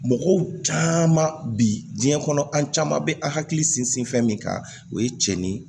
Mɔgɔw caman bi diɲɛ kɔnɔ an caman bɛ an hakili sinsin fɛn min kan o ye cɛ ni